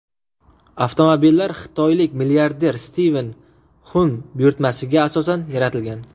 Avtomobillar xitoylik milliarder Stiven Xun buyurtmasiga asosan yaratilgan.